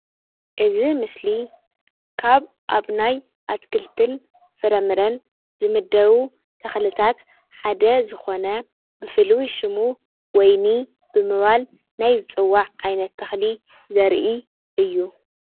እዚ ምስሊ ካብ ኣብ ናይ ኣትክልትን ፍረምረን ዝምደቡ ተኽልታት ሓደ ዝኾነ ብፍሉይ ሽሙ ወይኒ ብምባል ናይ ዝፅዋዕ ዓይነት ተኽሊ ዘርኢ እዩ።